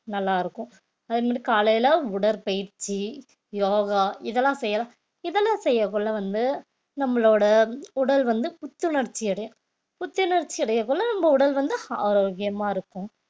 நல்லா இருக்கும் அதே மாதிரி காலையில உடற்பயிற்சி யோகா இதெல்லாம் செய்யலாம் இதெல்லாம் செய்யக்குள்ள வந்து நம்மளோட உடல் வந்து புத்துணர்ச்சி அடையும் புத்துணர்ச்சி அடையக்குள்ள நம்ம உடல் வந்து ஆரோக்கியமா இருக்கும்